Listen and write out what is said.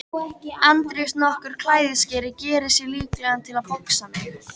Andrés nokkur klæðskeri gerði sig líklegan til að boxa mig.